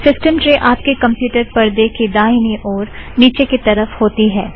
system tray आपके computer परदे के दाहिनी ओर नीचे की तरफ़ होती है